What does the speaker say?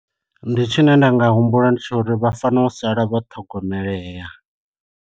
Ndi tshi ne nda nga humbula ndi tsha uri vha fanela u sala vho ṱhogomelea.